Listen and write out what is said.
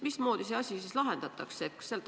Mismoodi see asi siis lahendatakse?